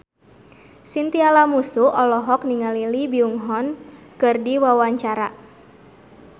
Chintya Lamusu olohok ningali Lee Byung Hun keur diwawancara